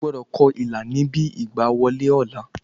Ogbọ́dọ̀ ko ilà níbi ìgbà wọlé ọ̀la